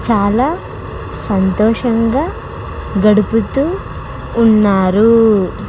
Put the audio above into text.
చాలా సంతోషంగా గడుపుతూ ఉన్నారు.